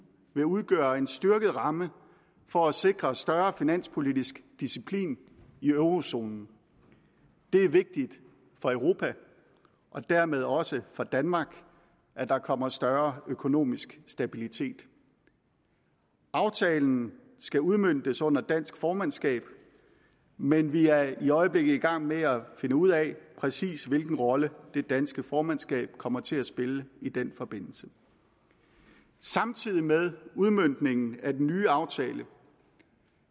vil udgøre en styrket ramme for at sikre større finanspolitisk disciplin i eurozonen det er vigtigt for europa og dermed også for danmark at der kommer større økonomisk stabilitet aftalen skal udmøntes under dansk formandskab men vi er i øjeblikket i gang med at finde ud af præcis hvilken rolle det danske formandskab kommer til at spille i den forbindelse samtidig med udmøntningen af den nye aftale